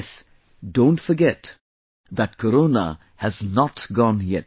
... Don't forget that Corona has not gone yet